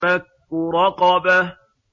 فَكُّ رَقَبَةٍ